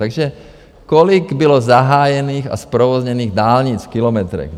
Takže kolik bylo zahájených a zprovozněných dálnic v kilometrech?